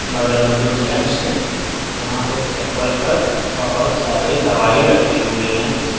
बगल में दो जेंट्स है जहां एक टेबल पर बहोत सारे दवाई रखे हुए हैं।